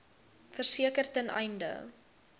verseker ten einde